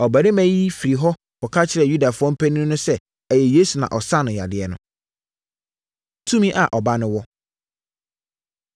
Ɔbarima yi firii hɔ kɔka kyerɛɛ Yudafoɔ mpanin no sɛ ɛyɛ Yesu na ɔsaa no yadeɛ no. Tumi A Ɔba No Wɔ